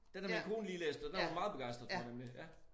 Den har min kone lige læst og den var hun meget begejstret for nemlig ja